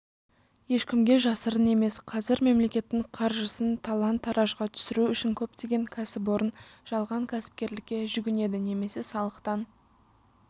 ешкімге жасырын емес қазір мемлекеттің қаржысын талан-таражға түсіру үшін көптеген кәсіпорын жалған кәсіпкерлікке жүгінеді немесе салықтан